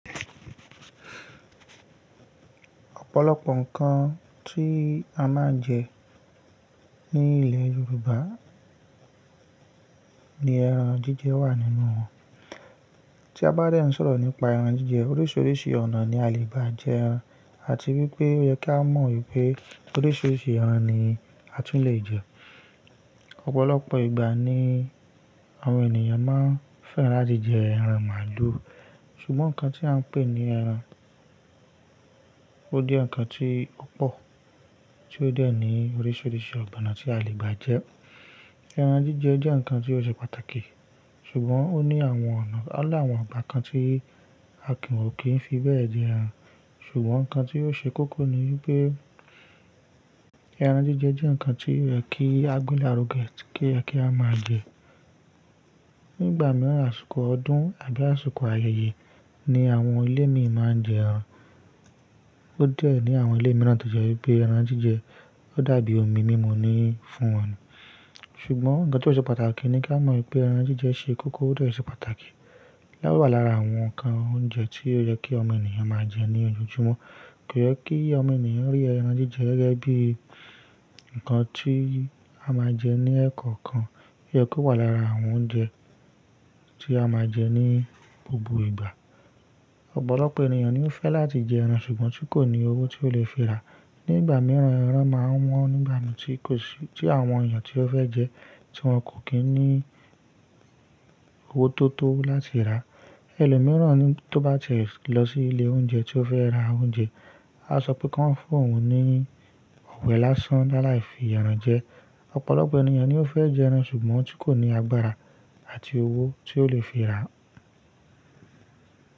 Ọ̀pọ̀lọpọ̀ ǹkan tí a máa ń jẹ ní ilẹ̀ Yorùbá ni ẹran jíjẹ wà nínú wọn. Tí a bá dẹ́ ń sọ̀rọ̀ nípa ẹran jíjẹ, oríṣiríṣi ọ̀nà ni a lè bá jẹ ẹran àti wípé ó yẹ kí á mọ̀ wípé oríṣiríṣi ẹran ni a tún lè jẹ. Ọ̀pọ̀lọpọ̀ ìgbà ni àwọn ènìyàn máa ń fẹ́ràn láti jẹ ẹran màálù, ṣùgbọ́n ǹkan tí à ń pè ní ẹran, ó jẹ́ ǹkan tí ó pò, tí ó dẹ́ ní oríṣiríṣi ọ̀nà tí a lè bá jẹ ẹ́. Ẹran jíjẹ jẹ́ ǹkan tí ó ṣe pàtàkì, ṣùgbọ́n ó ní àwọn ọ̀nà, ó ní àwọn ọ̀nà bákan tí a kì wò kí n fi bẹ́ẹ̀ jẹ ẹran. Ṣùgbọ́n ǹkan tí ó ṣe kókó ni wípé ẹran jíjẹ jẹ́ ǹkan tí ó yẹ kí agúnlárùgẹ àti kí a kì a máa jẹ. Ní ìgbà mìíràn, àsìkò ọdún àbí àsìkò ayẹyẹ ni àwọn ilé míì máa ń jẹ ẹran. Ó dẹ́ ní àwọn ilé mìíràn tó jẹ́ wípé ẹran jíjẹ ó dàbí omi mímu ni fún wọn ni Ṣùgbọ́n ǹkan tí ó ṣe pàtàkì ni kí á mọ̀ wípé ẹran jíjẹ ṣe kókó ó dẹ̀ ṣe pàtàkì. Láwà lára àwọn ǹkan oúnjẹ tí ó yẹ kí ọmọnìyàn máa jẹ ní ojoojúmọ́. Kò yẹ kí ọmọ enìyàn rí ẹran jíjẹ gẹ́gẹ́ bí ǹkan tí a máa jẹ ní ẹ́ẹ̀kọ̀kan. Ó yẹ kó wà lára àwọn oúnjẹ tí a máa jẹ ní gbogbo ìgbà. Ọ̀pọ̀lọpọ̀ ènìyàn ni ó fẹ́ láti jẹ ẹran ṣùgbọ́n tí kò ní owó tí ó lè fi ra. Ní ìgbà mìíràn ẹran máa wọ́n nígbà náà tí kò sí-- tí àwọn èèyàn tí ó fẹ́ jẹ ẹ́, tí wọ́n kò kín ní owó tó tó láti rà á. Ẹ̀ẹ̀lọ́ mìíràn ni tó bá tẹ̀ lọ sí ilé oúnjẹ tí ó fẹ́ ra oúnjẹ, a ó sọ pé kí wọ́n fún òun ní ọ̀bẹ́ lásán lálàyi fi ẹran jẹ. Ọ̀pọ̀lọpọ̀ ènìyàn ni ó fẹ́ jẹ ẹran ṣùgbọ́n tí kò ní agbára àti owó tí ó lè fi ra.